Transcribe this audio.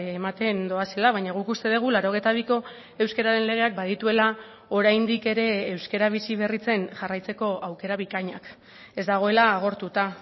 ematen doazela baina guk uste dugu laurogeita biko euskararen legeak badituela oraindik ere euskara biziberritzen jarraitzeko aukera bikainak ez dagoela agortuta